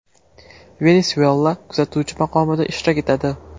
Venesuyela kuzatuvchi maqomida ishtirok etadi.